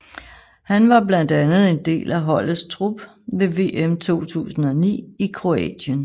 Han var blandt andet en del af holdets trup ved VM 2009 i Kroatien